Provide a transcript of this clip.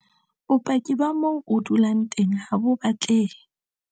Bopaki ba moo o dulang teng HA BO batlehe.